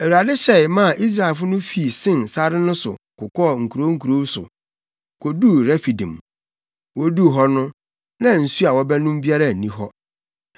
Awurade hyɛe maa Israelfo no fii Sin sare no so kokɔɔ nkurow nkurow so, koduu Refidim. Woduu hɔ no, na nsu a wɔbɛnom biara nni hɔ.